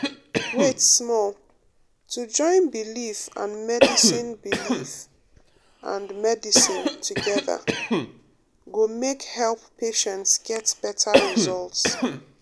wait small — to join belief and medicine belief and medicine together go make help patients get better result.